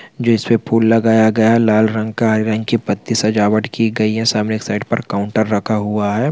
जिसपे फूल लगाया गया है लाल रंग का हरे रंग की पट्टी सजावट की गई है सामने एक साइड पर काउंटर रखा हुआ है।